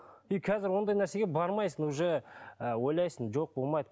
и қазір ондай нәрсеге бармайсың уже ы ойлайсың жоқ болмайды